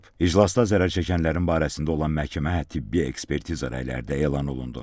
İclasda zərər çəkənlərin barəsində olan məhkəmə, tibbi ekspertiza rəyləri də elan olundu.